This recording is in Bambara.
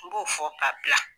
N b'o fɔ ka bila.